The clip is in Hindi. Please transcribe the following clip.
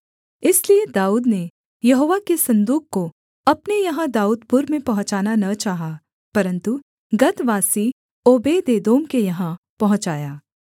इसलिए दाऊद ने यहोवा के सन्दूक को अपने यहाँ दाऊदपुर में पहुँचाना न चाहा परन्तु गतवासी ओबेदेदोम के यहाँ पहुँचाया